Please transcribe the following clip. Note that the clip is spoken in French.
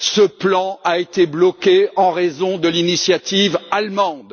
Ce plan a été bloqué en raison de l'initiative allemande.